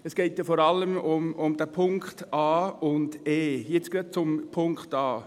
Es geht ja vor allem um die Punkte a und e. Jetzt gerade zu Punkt a: